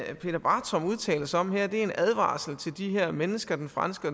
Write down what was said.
peter bartram udtaler sig om her er en advarsel til de her mennesker den franske